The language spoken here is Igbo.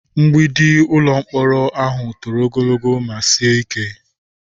Mgbidi ụlọ mkpọrọ ahụ toro ogologo ma sie ike.